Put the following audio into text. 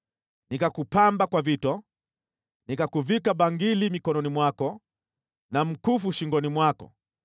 Nikakupamba kwa vito: nikakuvika bangili mikononi mwako na mkufu shingoni mwako,